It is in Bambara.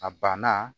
A banna